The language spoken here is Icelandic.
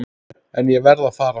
En ég varð að fara.